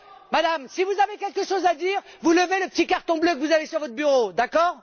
Madame, si vous avez quelque chose à dire, vous levez le petit carton bleu que vous avez sur votre bureau, d'accord?